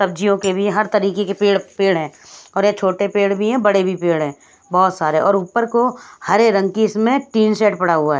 सब्जियों के भी हर तरीके के पेड़ पेड़ है और ये छोटे पेड़ भी है बड़े भी पेड़ है बहुत सारे और ऊपर को हरे रंग की इसमें टीन सेट पड़ा हुआ है ।